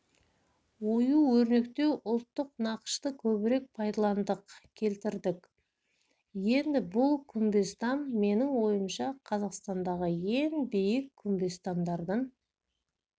ою-өрнектеу ұлттық нақышты көбірек пайдаландық келтірдік енді бұл күмбезтам менің ойымша қазақстандағы ең биік күмбезтамдардың